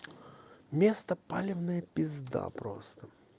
место полевное пизда просто